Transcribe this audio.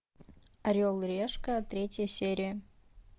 орел и решка третья серия